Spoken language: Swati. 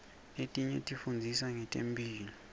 letinye tifundzisa ngetemphilo